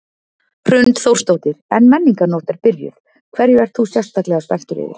Hrund Þórsdóttir: En Menningarnótt er byrjuð, hverju ert þú sérstaklega spenntur yfir?